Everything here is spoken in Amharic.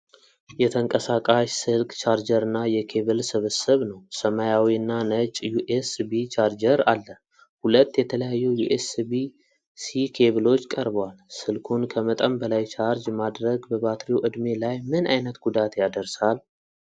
የተንቀሳቃሽ ስልክ ቻርጀርና የኬብል ስብስብ ነው። ሰማያዊና ነጭ ዩ ኤስ ቢ ቻርጀር አለ። ሁለት የተለያዩ ዩ ኤስ ቢ ሲ ኬብሎች ቀርበዋል። ስልኩን ከመጠን በላይ ቻርጅ ማድረግ በባትሪው ዕድሜ ላይ ምን ዓይነት ጉዳት ያደርሳል?